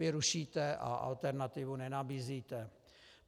Vy rušíte a alternativu nenabízíte.